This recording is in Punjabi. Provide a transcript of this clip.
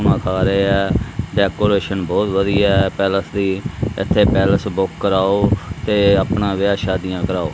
ਮਾਤਾਰੇ ਐ ਡੈਕੋਰੇਸ਼ਨ ਬਹੁਤ ਵਧੀਆ ਐ ਪੈਲੇਸ ਦੀ ਇੱਥੇ ਪੈਲੇਸ ਬੁੱਕ ਕਰਾਓ ਤੇ ਅਪਣਾ ਵਿਆਹ ਸ਼ਾਦੀਆਂ ਕਰਾਓ।